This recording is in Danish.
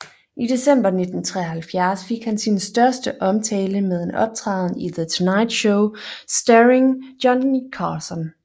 I december 1973 fik han sin største omtale med en optræden i The Tonight Show Starring Johnny Carson